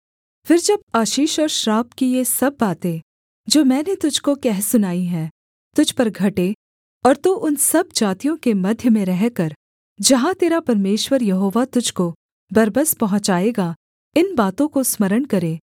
फिर जब आशीष और श्राप की ये सब बातें जो मैंने तुझको कह सुनाई हैं तुझ पर घटें और तू उन सब जातियों के मध्य में रहकर जहाँ तेरा परमेश्वर यहोवा तुझको बरबस पहुँचाएगा इन बातों को स्मरण करे